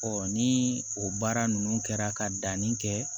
ni o baara ninnu kɛra ka danni kɛ